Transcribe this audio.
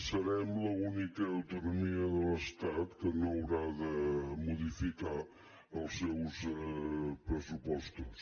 serem l’única autonomia de l’estat que no haurà de modificar els seus pressupostos